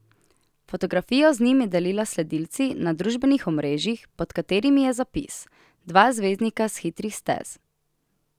Fotografijo z njim je delila s sledilci na družbenih omrežjih, pod katerimi je zapis: "Dva zvezdnika s hitrih stez.